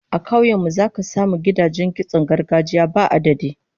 A kauyukan mu zaka samu gidajen kitson gargajiya ba adadi